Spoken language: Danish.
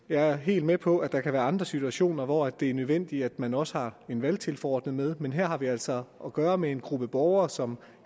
jeg er helt med på at der kan være andre situationer hvor det er nødvendigt at man også har en valgtilforordnet med men her har vi altså at gøre med en gruppe borgere som